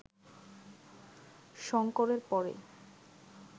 শঙ্করের পরেই